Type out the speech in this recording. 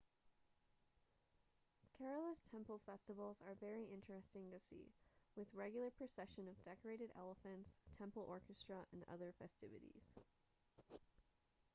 kerala's temple festivals are very interesting to see with regular procession of decorated elephants temple orchestra and other festivities